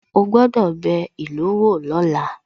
Ó gbọ́dọ̀ bẹ ìlú wò lọ́la